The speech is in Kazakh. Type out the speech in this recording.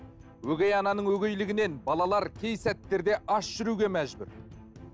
өгей ананың өгейлігінен балалар кей сәттерде аш жүруге мәжбүр